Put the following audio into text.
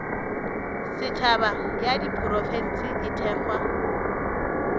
setšhaba ya diprofense e thekgwa